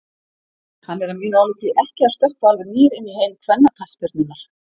Hann er að mínu áliti ekki að stökkva alveg nýr inn í heim kvennaknattspyrnunnar.